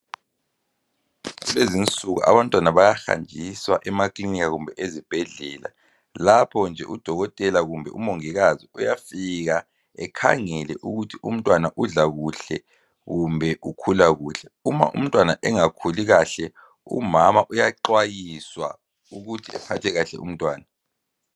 Lezi nsuku abantwana bayahanjiswa emakilinika kumbe ezibhedlela lapho nje udokotela kumbe umongikazi uyafika ekhangele ukuthi umtwana udla kuhle kumbe ukhula kuhle .Uma umtwana engakhuli kahle, umama uyaxwayiswa ukuthi aphathe kahle umntwana .